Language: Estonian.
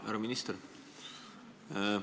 Härra minister!